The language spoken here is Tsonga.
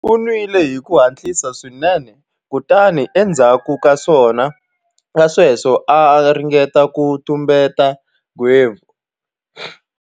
U nwile hi ku hatlisa swinene kutani endzhaku ka sweswo a ringeta ku tumbeta nghevo.